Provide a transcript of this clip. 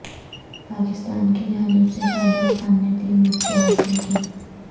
پاکستان کی جانب سے شاداب خان نے تین وکٹیں حاصل کیں